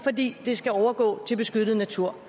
fordi det skal overgå til beskyttet natur